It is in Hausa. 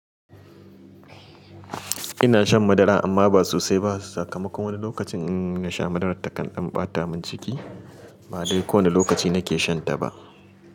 Ina shan madara amma ba sosai ba. Sakamakon wani lokacin in na sha madarar ta kan ɗan ɓata min ciki. Ba dai kowane lokaci na ke shan ta ba.